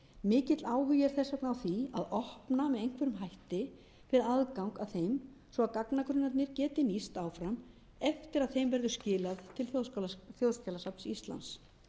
mikill áhugi er þess vegna á því að opna með einhverjum hætti fyrir aðgang að þeim svo gagnagrunnarnir geti nýst áfram eftir það þeim verður skilað til þjóðskjalasafns íslands